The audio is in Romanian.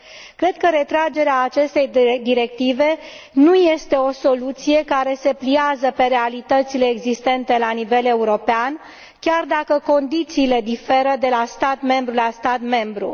Cred că retragerea acestei directive nu este o soluție care se pliază pe realitățile existente la nivel european, chiar dacă condițiile diferă de la stat membru la stat membru.